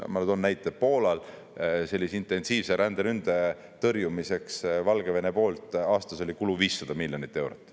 Ma toon näite: Poolal oli sellise intensiivse ränderünde tõrjumiseks Valgevene poolt aastas kulu 500 miljonit eurot.